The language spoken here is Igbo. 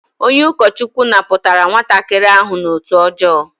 Onye ukochukwu naputara nwatakiri ahu n'otu ojoo